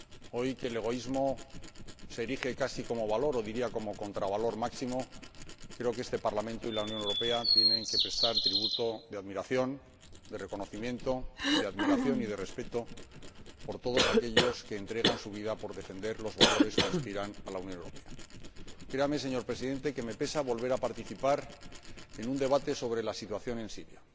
Hoy, que el egoísmo se erige casi como valor o —diría— como contravalor máximo, creo que este Parlamento y la Unión Europea tienen que prestar tributo de admiración, de reconocimiento y de respeto por todos aquellos que entregan su vida por defender los valores que inspiran a la Unión Europea. Créame, señor Presidente, que me pesa volver a participar en un debate sobre la situación en Siria.